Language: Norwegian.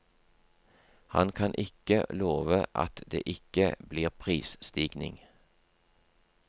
Han kan ikke love at det ikke blir prisstigning.